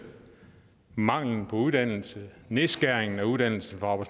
manglen på uddannelse nedskæringen af uddannelse for